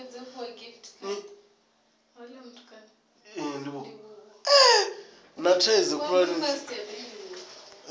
na thaidzo khulwane dzine dza